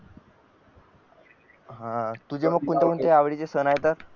हा तुझा कोणत्या आवडीचे सण येतात